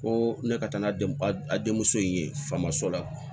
Ko ne ka taa n'a den a denmuso in ye famoso la